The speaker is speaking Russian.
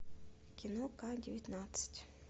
кино к девятнадцать